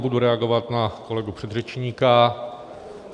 Budu reagovat na kolegu předřečníka.